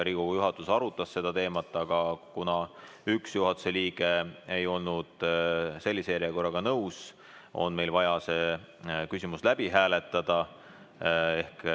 Riigikogu juhatus arutas seda teemat, aga kuna üks juhatuse liige ei olnud sellise järjekorraga nõus, on meil vaja see küsimus läbi hääletada.